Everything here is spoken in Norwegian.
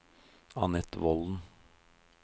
Anette Volden